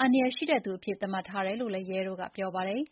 အန္တရာယ်ရှိတဲ့သူအဖြစ် သတ်မှတ်ထားတယ်လို့လည်း ရဲတို့ကပြောပါတယ်။